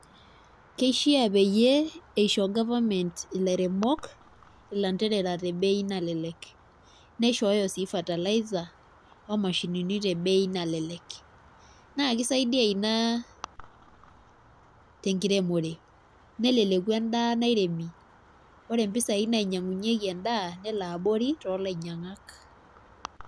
Keishaa peyie eisho government ilairemok ilanterera te bei nalelek. Neishooyo sii fertilizer oo mashinini te bei nalelek, naa kisaidia ina tenkiremore neleleku endaa nairemi. Ore mpisai nainyang'unyeki endaa nelo abori too lainyang'ak.